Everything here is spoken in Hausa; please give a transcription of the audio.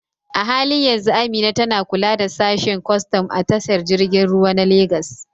A halin yanzu Amina tana kula da sashen kwastam a tashar jirgin ruwa ta Legas.